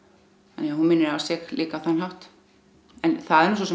þannig að hún minnir á sig líka á þann hátt en það er nú svo sem